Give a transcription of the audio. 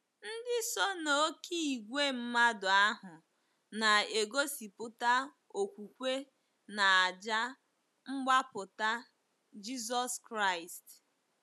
Ndị so n'oké ìgwè mmadụ ahụ na-egosipụta okwukwe n'àjà mgbapụta Jizọs Kraịst.